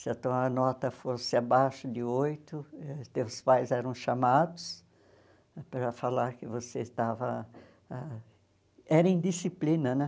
Se a tua nota fosse abaixo de oito, os teus pais eram chamados para falar que você estava... Era indisciplina, né?